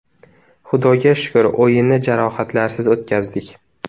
Xudoga shukur, o‘yinni jarohatlarsiz o‘tkazdik.